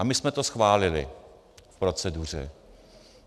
A my jsme to schválili v proceduře.